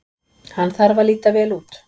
Hann þarf að líta vel út.